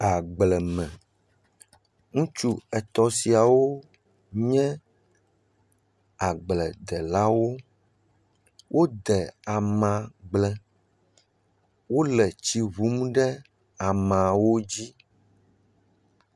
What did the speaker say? Agble me. Ŋutsu etɔ siawo nye agbledelawo. Wode ama gble. Wole tsi wum ɖe amawo dzi.